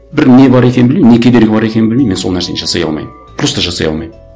бір не бар екенін білмеймін не кедергі бар екенін білмеймін мен сол нәрсені жасай алмаймын просто жасай алмаймын